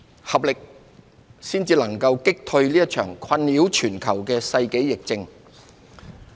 合力，才能有效擊退這場困擾全球的世紀疫症。